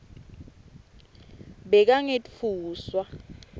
bekangetfuswa